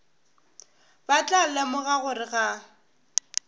ba tla lemoga gore ga